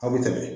Aw bɛ tɛmɛ